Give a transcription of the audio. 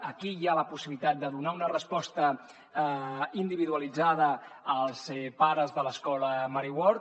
aquí hi ha la possibilitat de donar una resposta individualitzada als pares de l’escola mary ward